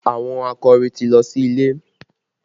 Àwọn akọrin ti lọ sí ilé